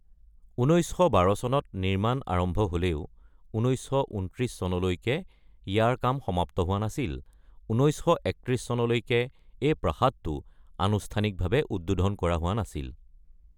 ১৯১২ চনত নিৰ্মাণ আৰম্ভ হ’লেও ১৯২৯ চনলৈকে ইয়াৰ কাম সমাপ্ত হোৱা নাছিল; ১৯৩১ চনলৈকে এই প্ৰাসাদটো আনুষ্ঠানিকভাৱে উদ্বোধন কৰা হোৱা নাছিল।